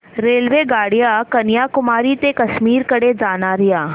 रेल्वेगाड्या कन्याकुमारी ते काश्मीर कडे जाणाऱ्या